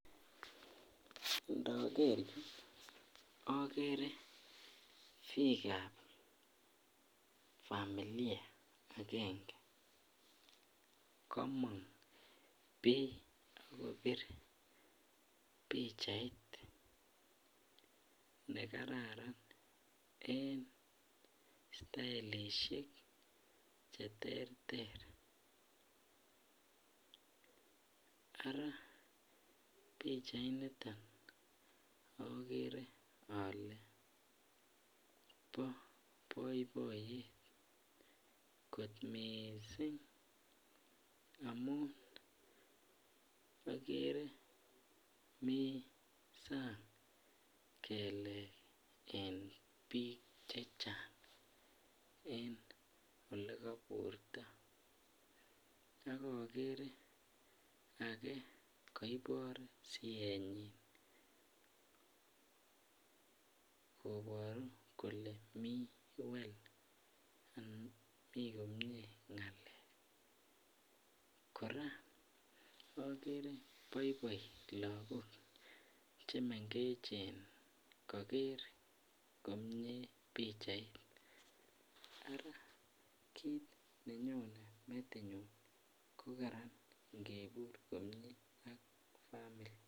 En akerr nii akeree piikap familiaa agenge kamong poi kopitu pichait nejararan eng stailishek cheterter araa pichait niton akeree alee bo baibaiyet mising amuu akeree mii sang kelek eng piik chechang eng olee kaburrto koporuu kolee mii komyee ngalek